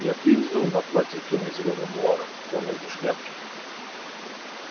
я привезу вам на платье темно-зелёного муара в тон этой шляпке